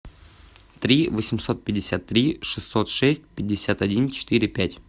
три восемьсот пятьдесят три шестьсот шесть пятьдесят один четыре пять